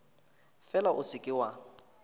fela o se ke wa